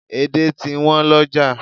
Edé ti wọ́n lọ́jà